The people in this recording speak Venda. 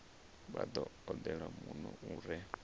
vha odele muno u re